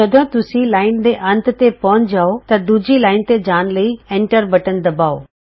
ਜਦੋਂ ਤੁਸੀਂ ਲਾਈਨ ਦੇ ਅੰਤ ਤੇ ਪਹੁੰਚ ਜਾਉ ਤਾਂ ਦੂਜੀ ਲਾਈਨ ਤੇ ਜਾਣ ਲਈ ਐਂਟਰ ਬਟਨ ਦਬਾਉ